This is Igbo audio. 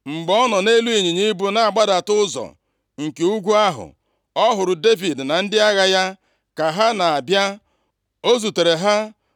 Mgbe ọ nọ nʼelu ịnyịnya ibu na-agbada ụzọ nke ugwu ahụ ọ hụrụ Devid na ndị agha ya ka ha na-abịa. O zutere ha